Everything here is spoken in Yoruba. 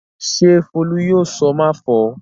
Ṣé Folú yóò sọ "máfọ̀ọ́"?